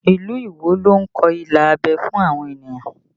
Ilu Iwo ló ń kọ ilà abẹ́ fún àwọn ènìyàn